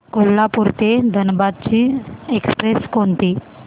कोल्हापूर ते धनबाद ची एक्स्प्रेस कोणती